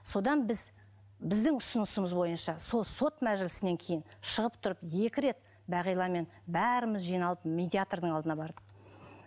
содан біз біздің ұсынысымыз бойынша сот мәжілісінен кейін шығып тұрып екі рет бағиламен бәріміз жиналып медиатрдың алдына бардық